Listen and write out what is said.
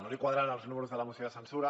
no li quadraven els números de la moció de censura